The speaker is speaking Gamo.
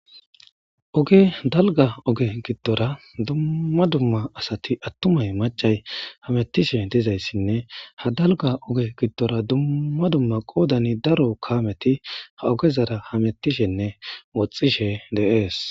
oge dalga oge giddora dumma dumma asati attumay macay hamettishe dizayssinne ha dalga oge giddora dumma dumma qoodani daro kaameti ha ogezara hamettishenne woxxishe de'ees